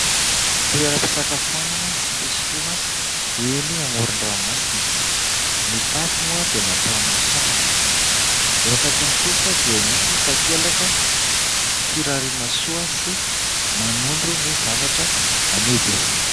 Toeram-pisakafoanana sy fisotroana eny amoron-dranomasina. Ny tafo moa dia natao amin'ny satrana, eo akaikiny kosa dia misy takelaka firariana soa sy manondro ny zavatra amidy.